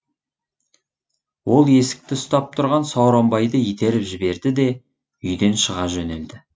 ол есікті ұстап тұрған сауранбайды итеріп жіберді де үйден шыға жөнелді